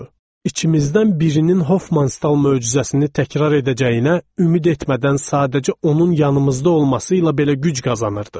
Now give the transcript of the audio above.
İçimizdən birinin Hoffmanstal möcüzəsini təkrar edəcəyinə ümid etmədən sadəcə onun yanımızda olması ilə belə güc qazanırdıq.